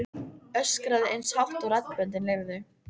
Öskraði eins hátt og raddböndin leyfðu.